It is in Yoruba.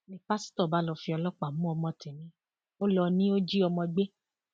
ni pásítọ bá lọọ fi ọlọpàá mú ọmọ tẹmí ó lọ ni ó jí ọmọ gbé